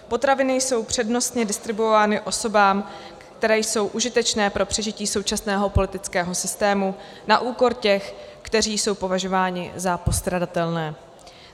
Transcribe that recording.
Potraviny jsou přednostně distribuovány osobám, které jsou užitečné pro přežití současného politického systému, na úkor těch, kteří jsou považováni za postradatelné.